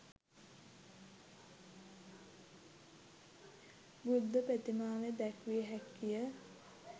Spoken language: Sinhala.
බුද්ධ ප්‍රතිමාව දැක්විය හැකිය.